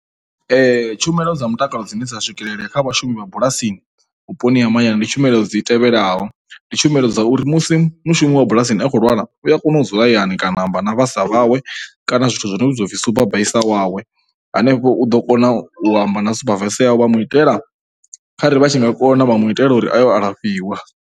Tshumelo dza mutakalo dzine dza swikelelea kha vhashumi vha bulasi vhuponi ha mahayani ndi tshumelo dzi tevhelaho, ndi tshumelo dza uri musi mushumi wa bulasini a khou lwala u ya kona u dzula hayani kana a amba na vhasa wawe kana zwithu zwi vhidzwa u pfhi supervisor wawe a ne u ḓo kona u amba na supervisor wawe vha mu itela, kharali vha tshi nga kona vha mu itela uri a yo u alafhiwa.